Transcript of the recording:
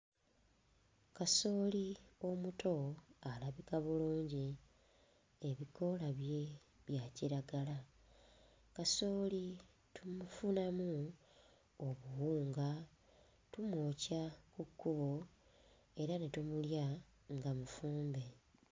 Kasooli omuto alabika bulungi, ebikoola bye bya kiragala. Kasooli tumufunamu obuwunga, tumwokya ku kkubo era ne tumulya nga mufumbe.